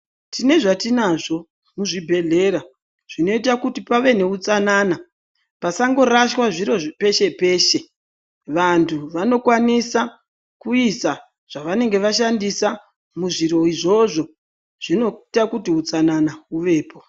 Tine zvatinazvo mu zvibhedhlera zvino ita kuti pave ne utsanana pasango rashwa zviro peshe peshe vantu vano kwanisa kuisa zva vanenge vashandisa muzviro izvozvo zvino ita kuti utsanana huvepo.